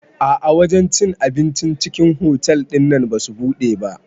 A'a wajen cin abincin cikin otal ɗinnan basu buɗe ba